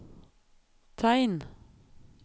tegn